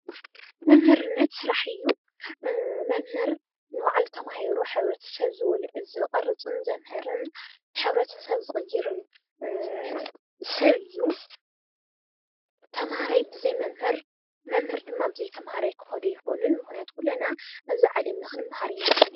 መምህርነት ስራሕ እዩ። መምህር ንባዕሉ ተማሂሩ ሕብረተሰብ ዝቀርፅን ዘምህርን ሕብረተሰብ ዝቅይርን ሰብ እዩ ። ተምሃራይ ብዘይ መምህር መምህር ድማ ብዘይ ተምሃራይ ክከዱ አይኽእሉን ምክንያቱም ኩልና ኣብዚ ዓለም ንክንመሃር ኢና ተፈጢረና ።